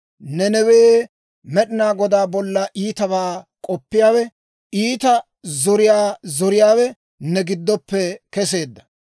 Nanawee, Med'inaa Godaa bolla iitabaa k'oppiyaawe, iita zoriyaa zoriyaawe ne giddoppe keseedda.